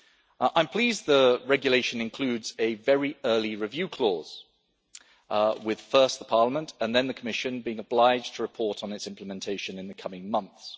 I am pleased that the regulation includes a very early review clause with first Parliament and then the Commission being obliged to report on its implementation in the coming months.